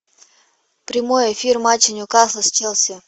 прямой эфир матча нью касл с челси